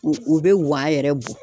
U bɛ wan yɛrɛ bɔ.